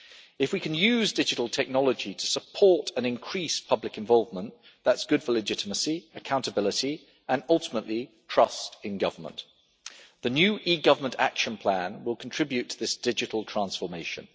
If we can use digital technology to support an increased public involvement, that is good for legitimacy, accountability and ultimately trust in government. The new e government Action Plan will contribute to this digital transformation.